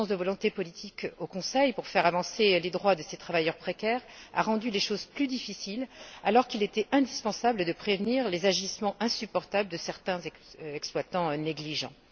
L'absence de volonté politique au Conseil pour faire avancer les droits de ces travailleurs précaires a rendu les choses plus difficiles, alors qu'il était indispensable de prévenir les agissements insupportables de certains exploitants négligents.